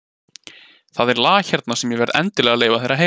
Það er lag hérna sem ég verð endilega að leyfa þér að heyra.